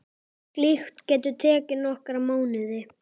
Slíkt geti tekið nokkra mánuði.